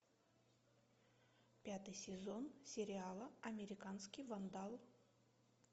пятый сезон сериала американский вандал